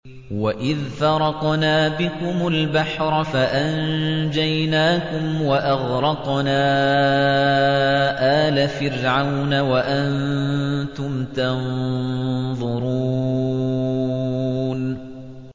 وَإِذْ فَرَقْنَا بِكُمُ الْبَحْرَ فَأَنجَيْنَاكُمْ وَأَغْرَقْنَا آلَ فِرْعَوْنَ وَأَنتُمْ تَنظُرُونَ